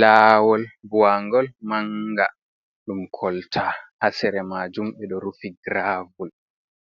Laawol buwangol manga ɗum kolta, haa sere majum ɓe ɗo rufi giravol,